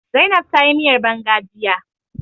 Zainab ta yi miyar banga jiya